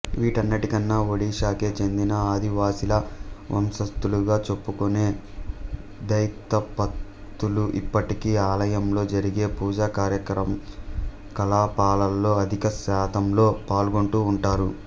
వీటన్నిటికన్నా ఒడిషాకే చెందిన ఆదివాసీల వంశస్థులుగా చెప్పుకొనే ధైతపతులు ఇప్పటికీ ఆలయంలో జరిగే పూజాకార్యకలాపాలలో అధిక శాతంలో పాల్గొంటూ వుంటారు